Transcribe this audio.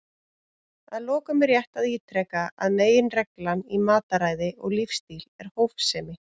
Að lokum er rétt að ítreka að meginreglan í mataræði og lífsstíl er hófsemi.